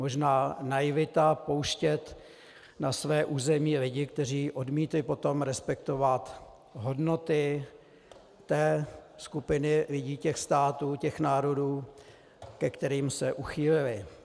Možná naivita pouštět na své území lidi, kteří odmítli potom respektovat hodnoty té skupiny lidí, těch států, těch národů, ke kterým se uchýlili.